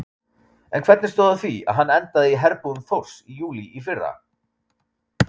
En hvernig stóð á því að hann endaði í herbúðum Þórs í júlí í fyrra?